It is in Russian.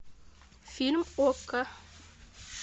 фильм окко